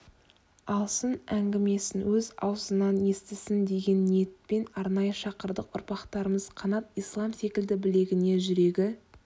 алсын әңгімесін өз аузынан естісін деген ниетпен арнайы шақырдық ұрпақтарымыз қанат ислам секілді білегіне жүрегі